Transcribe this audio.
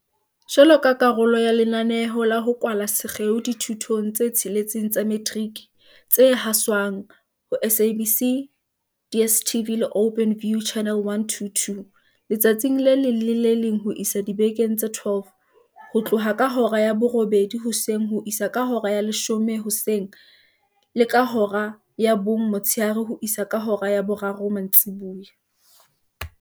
Jwaloka karolo ya lenaneo la ho kwala sekgeo dithutong tse tsheletseng tsa metiriki tse haswang ho SABC, DSTV le Openview, Channel 122, letsatsi le leng le le leng ho isa dibekeng tse 12, ho tloha ka hora ya borobedi hoseng ho isa ka hora ya leshome hoseng le ka hora ya bong motshehare ho isa ka hora ya boraro mantsibuya.